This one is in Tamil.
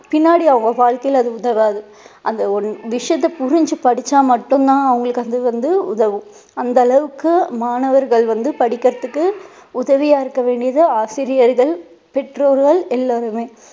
பின்னாடி அவங்க வாழ்க்கையில அது உதவாது அந்த ஒரு விஷயத்த புரிஞ்சு படிச்சா மட்டும் தான் அவங்களுக்கு அது வந்து உதவும். அந்த அளவுக்கு மாணவர்கள் வந்து படிப்பதற்கு உதவியா இருக்க வேண்டியது ஆசிரியர்கள் பெற்றோர்கள் எல்லோருமே